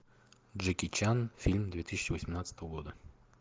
джеки чан фильм две тысячи восемнадцатого года